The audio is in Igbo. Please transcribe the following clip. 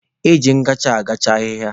Eji ngacha agacha ahịhịa.